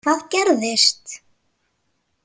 Hvað gerðist?